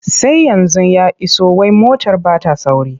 Sai yanzu ya iso wai motar ba ta sauri.